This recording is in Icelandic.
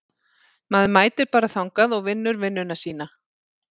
Maður mætir bara þangað og vinnur vinnuna sína.